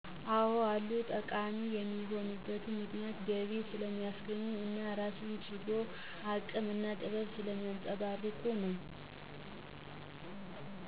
አዎ አሉ። ጠቃሚ የሆኑበት ምክንያት ገቢ ስለሚያስገኙ እና የራስን ችሎታ፣ አቅም እና ጥበብ ስለሚያንፀባርቁ ነው።